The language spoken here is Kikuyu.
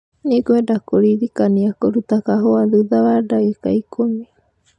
Nĩngwenda kũririkania kũrũta kahũa thutha wa ndagĩka ikũmi .